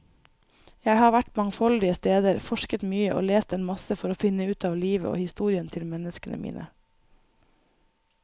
Jeg har vært mangfoldige steder, forsket mye og lest en masse for å finne ut av livet og historien til menneskene mine.